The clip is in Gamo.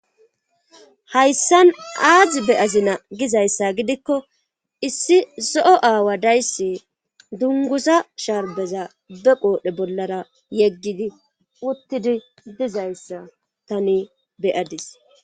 hayssan azi beyazina gizayssa gidikko issi zo'o aawa days dunguzza sharbeza be qoodhe bollara yeggidi uttidi dizayssa tani beyadis.